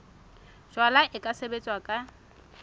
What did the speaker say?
jalwa e ka sebetswa ka